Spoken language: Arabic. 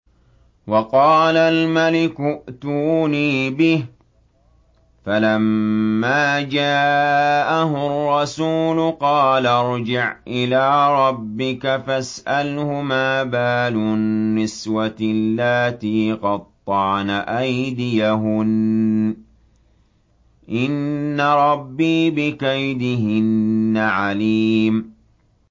وَقَالَ الْمَلِكُ ائْتُونِي بِهِ ۖ فَلَمَّا جَاءَهُ الرَّسُولُ قَالَ ارْجِعْ إِلَىٰ رَبِّكَ فَاسْأَلْهُ مَا بَالُ النِّسْوَةِ اللَّاتِي قَطَّعْنَ أَيْدِيَهُنَّ ۚ إِنَّ رَبِّي بِكَيْدِهِنَّ عَلِيمٌ